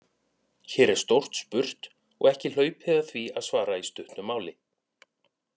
Hér er stórt spurt og ekki hlaupið að því að svara í stuttu máli.